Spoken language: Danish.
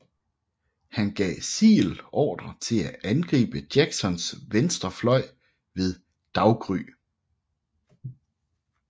Han gav Sigel ordre til at angribe Jacksons venstre fløj ved daggry